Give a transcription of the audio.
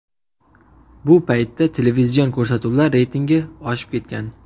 Bu paytda televizion ko‘rsatuvlar reytingi oshib ketgan.